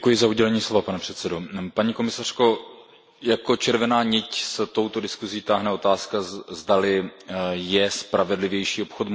Pane předsedající, paní komisařko, jako červená niť se touto diskusí táhne otázka, zdali je spravedlivější obchod možný.